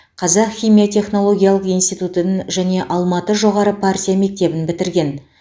қазақ химия технологиялық институтын және алматы жоғары партия мектебін бітірген